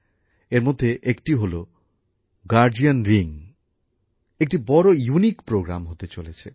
এর মধ্যে একটি হলো গার্ডিয়ান রিং যা একটি বড়ো অনন্য কর্মসূচী হতে চলেছে